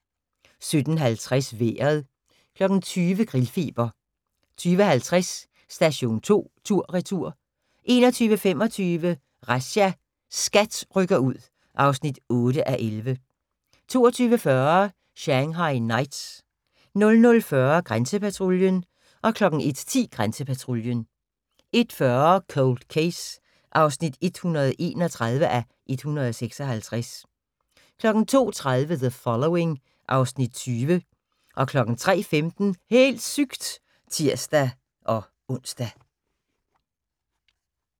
17:50: Vejret 20:00: Grillfeber 20:50: Station 2 tur/retur 21:25: Razzia – SKAT rykker ud (8:11) 22:40: Shanghai Knights 00:40: Grænsepatruljen 01:10: Grænsepatruljen 01:40: Cold Case (131:156) 02:30: The Following (Afs. 20) 03:15: Helt sygt! (tir-ons)